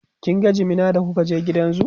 kin ga jimina da kuka je gidan zoo?